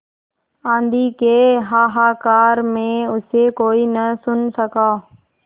आँधी के हाहाकार में उसे कोई न सुन सका